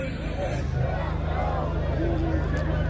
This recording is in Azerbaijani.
Ya Hüseyn, Ya Hüseyn!